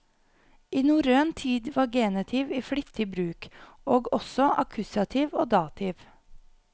I norrøn tid var genitiv i flittig bruk, og også akkusativ og dativ.